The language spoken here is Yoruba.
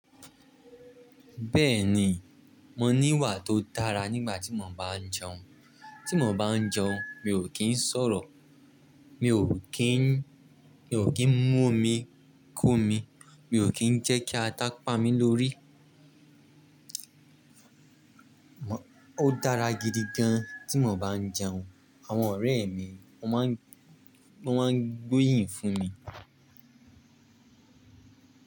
Bẹ́ẹ̀ni, mo ní ìwà tó dára nígbà tí mo bá ń jẹun. Tí mo bá ń jẹun, mi ò kí ń sọ̀rọ̀, mi ò kí ń, mi ò kí ń mú omi kó mi, mi ò kí ń jẹ́ kí ata pa mí lórí. Ó dára gidi gan tí mo bá ń jẹun. Àwọn ọ̀rẹ́ mi wọ́n máa ń, wọ́n máa ń gbóyìn fún mi.